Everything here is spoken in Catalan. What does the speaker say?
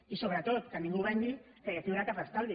i sobretot que ningú vengui que aquí hi haurà cap estalvi